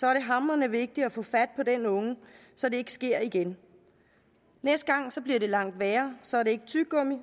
er det hamrende vigtigt at få fat på den unge så det ikke sker igen næste gang bliver det langt værre så er det ikke tyggegummi